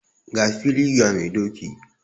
Ga fili ga mai doki